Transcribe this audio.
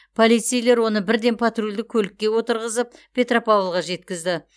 полицейлер оны бірден патрульдік көлікке отырғызып петропавлға жеткізді